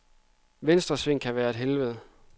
Venstresving kan være et helvede.